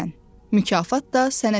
Mükafat da sənə çatır.